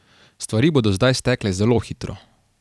Stvari bodo zdaj stekle zelo hitro.